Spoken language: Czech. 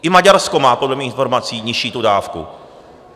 I Maďarsko má podle mých informací nižší tu dávku.